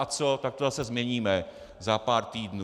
A co, tak to zase změníme za pár týdnů.